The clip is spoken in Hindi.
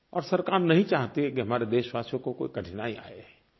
और सरकार नहीं चाहती है कि हमारे देशवासियों को कोई कठिनाई आए